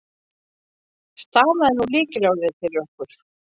Stafaðu nú lykilorðið fyrir okkur.